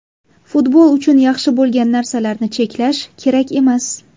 Futbol uchun yaxshi bo‘lgan narsalarni cheklash kerak emas.